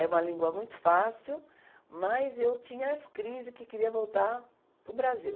É uma língua muito fácil, mas eu tinha as crises que queria voltar para o Brasil.